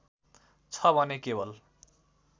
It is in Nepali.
छ भने केवल